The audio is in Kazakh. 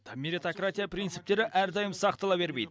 меритократия принциптері әрдайым сақтала бермейді